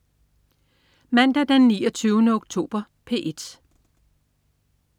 Mandag den 29. oktober - P1: